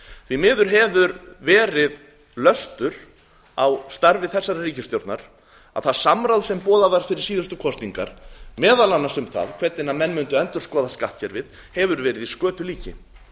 því miður hefur verið löstur á starfi þessara ríkisstjórnar að það samráð sem boðað var fyrir síðustu kosningar meðal annars um það hvernig menn mundu endurskoða skattkerfið hefur verið í skötulíki